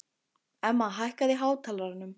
Emma, hækkaðu í hátalaranum.